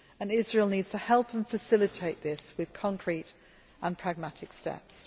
state. Israel needs to help and facilitate this with concrete and pragmatic